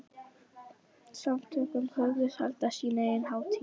Samtökin hugðust halda sína eigin hátíð.